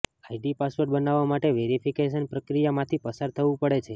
ID password બનાવવા માટે verification પ્રક્રિયા માંથી પસાર થવું પડે છે